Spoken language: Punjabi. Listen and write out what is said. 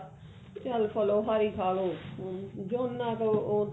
ਚੱਲ ਫਲੋਹਾਰੀ ਖਾ ਲਓ ਹਮ ਜਿੰਨਾ ਕੁ ਉਹ